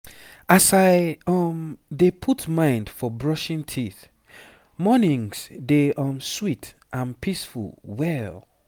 as i um dey put mind for brushing teeth mornings dey um sweet and peaceful well